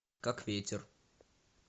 как ветер